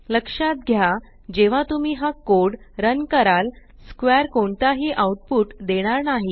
लक्षात घ्या जेव्हा तुम्ही हा कोड रन कराल स्क्वेअर कोणताही आउटपुट देणार नाही